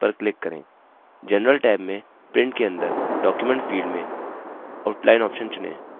general tab में print के अंदर document field में outline option चुनें